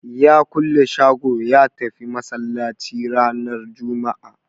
Ya kulle shago ya tafi Masallaci ranar Jumma'a